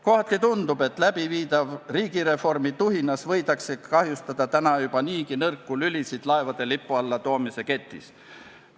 Kohati tundub, et läbiviidava riigireformi tuhinas võidakse kahjustada juba niigi nõrku lülisid, mida laevade lipu alla toomise ketis leidub.